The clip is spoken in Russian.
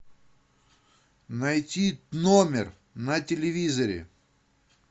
найти номер на телевизоре